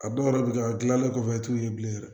A dɔw yɛrɛ bɛ kɛ a dilannen kɔfɛ i t'u ye bilen yɛrɛ